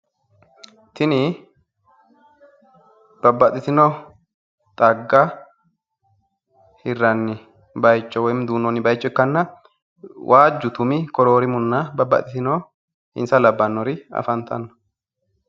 tini babbaxitino xagga hirranni bayicho woyimmi duunnoonni bayicho ikkanna, waajju tumi koroorimunna babbaxitino insa labbanori afantanno.